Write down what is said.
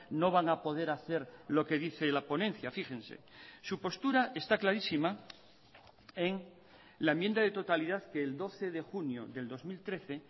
no van a poder hacer lo que dice la ponencia fíjense su postura está clarísima en la enmienda de totalidad que el doce de junio del dos mil trece